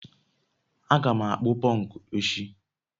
a ga m akpụ pọnkụ echi